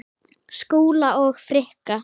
Skúla og Frikka?